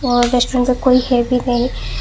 और रेस्टोरेंट पे कोई है भी नहीं।